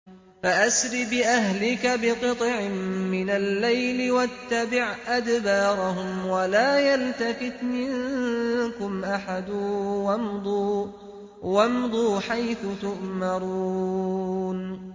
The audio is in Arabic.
فَأَسْرِ بِأَهْلِكَ بِقِطْعٍ مِّنَ اللَّيْلِ وَاتَّبِعْ أَدْبَارَهُمْ وَلَا يَلْتَفِتْ مِنكُمْ أَحَدٌ وَامْضُوا حَيْثُ تُؤْمَرُونَ